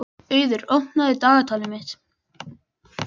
Auður, opnaðu dagatalið mitt.